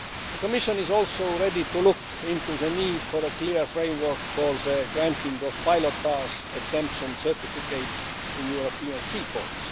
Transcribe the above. The Commission is also ready to look into the need for a clear framework for the granting of pilotage exemption certificates in European sea ports.